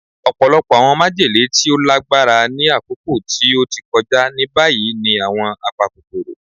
Ọpọlọpọ awọn majele ti o lagbara ni akoko ti o ti kọja ni bayi ni awọn apakokoro